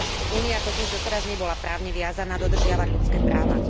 Únia totiž doteraz nebola právne viazaná dodržiavať ľudské práva.